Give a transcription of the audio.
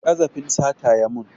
Ƙazafin sata ya mun